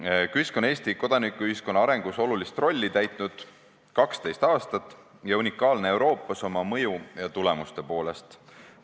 KÜSK on Eesti kodanikuühiskonna arengus olulist rolli täitnud 12 aastat ja ta on Euroopas oma mõju ja tulemuste poolest unikaalne.